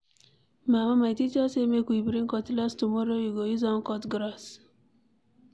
Mama my teacher say make we bring cutlass tomorrow, we go use am cut grass.